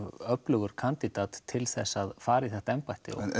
öflugur kandidat til að fara í þetta embætti